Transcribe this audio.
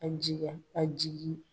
A jiga a jigi